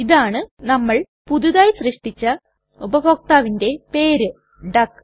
ഇതാണ് നമ്മൾ പുതിയതായി സൃഷ്ടിച്ച ഉപഭോക്താവിന്റെ പേര് ഡക്ക്